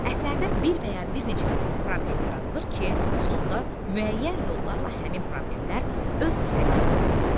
Əsərdə bir və ya bir neçə problem yaradılır ki, sonda müəyyən yollarla həmin problemlər öz həllini tapır.